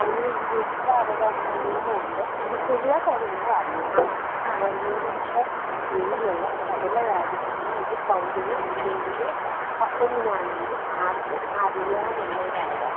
അങ്ങനെയൊരു വിവര അവകാശ നിയമമുണ്ട് നമുക്ക് എല്ലാ കാര്യങ്ങളും അറിയണം. ഗവൺമെന്റിന്റെ കീഴിലുള്ള സകല കാര്യങ്ങളും ഒരു പൗരന് അല്ലെങ്കിൽ എങ്ങനെയാണെങ്കിലും ആർക്കും അറിയാനുള്ള ഒരു അവകാശം.